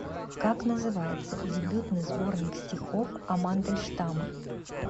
как называется дебютный сборник стихов о мандельштама